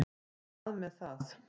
Hvað með það.